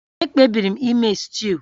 Ekpebiri m ime stuu